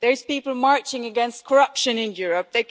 There are people marching against corruption in Europe.